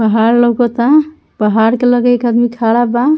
पहाड़ लउकता पहाड़ के लगे एक आदमी खड़ा बा।